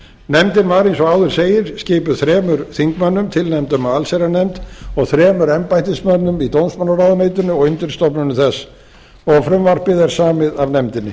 nefndin var eins og áður segir skipuð þremur þingmönnum tilnefndum af allsherjarnefnd og þremur embættismönnum í dómsmálaráðuneytinu og undirstofnunum þess og frumvarpið er samið af nefndinni